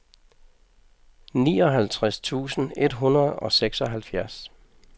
nioghalvtreds tusind et hundrede og seksoghalvfjerds